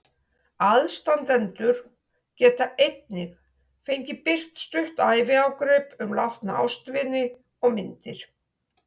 Aðstandendur get einnig fengið birt stutt æviágrip um látna ástvini og myndir.